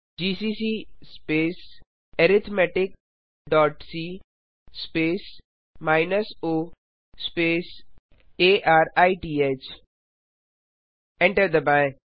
GCC space arithmetic dot c space minus o space arith enter दबाएँ